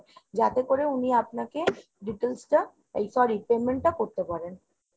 যাতে করে উনি আপনাকে details টা এই sorry payment টা করতে পারেন।